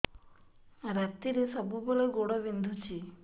ରାତିରେ ସବୁବେଳେ ଗୋଡ ବିନ୍ଧୁଛି